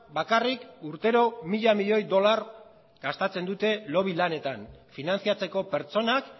bakarrik urtero mila milioi dolar gastatzen dute lobby lanetan finantzatzeko pertsonak